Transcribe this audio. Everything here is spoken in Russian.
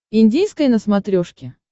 индийское на смотрешке